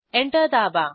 enter दाबा